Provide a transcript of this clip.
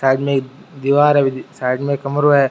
Side मे एक दीवार है साइड मे कमरों है।